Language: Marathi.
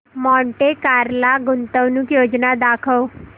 मॉन्टे कार्लो गुंतवणूक योजना दाखव